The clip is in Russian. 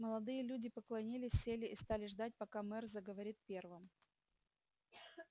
молодые люди поклонились сели и стали ждать пока мэр заговорит первым